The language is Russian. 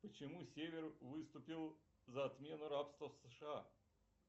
почему север выступил за отмену рабства в сша